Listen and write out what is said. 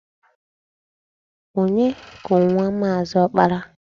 Onye ku nwa Maazị Ọkpara?